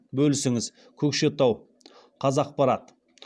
бөлісіңіз көкшетау қазақпарат